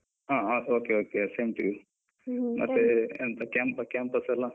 ಹ okay okay same to you . ಮತ್ತೆ ಎಂತ campus campus ಎಲ್ಲ.